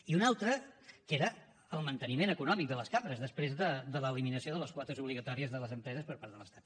i un altre que era el manteniment econòmic de les cambres després de l’eliminació de les quotes obligatòries de les empreses per part de l’estat